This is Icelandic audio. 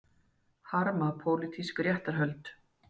Harma pólitísk réttarhöld